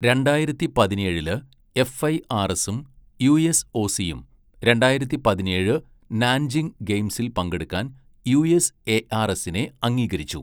രണ്ടായിരത്തി പതിനേഴില്, എഫ്ഐആർഎസും യുഎസ്ഒസിയും രണ്ടായിരത്തി പതിനേഴ് നാൻജിങ് ഗെയിംസിൽ പങ്കെടുക്കാൻ യുഎസ്എആർഎസിനെ അംഗീകരിച്ചു.